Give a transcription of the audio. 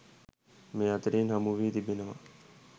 මේ අතරින් හමුවී තිබෙනවා.